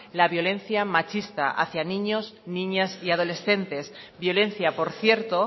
la violencia machista hacia niños niñas y adolescentes violencia por cierto